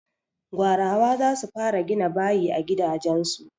Gwarawa za su fara gina bayi a gidajen su.